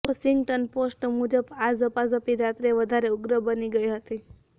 Washington Post મુજબ આ ઝપાઝપી રાત્રે વધારે ઉગ્ર બની ગઈ હતી